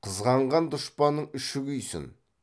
қызғанған дұшпанның іші күйсін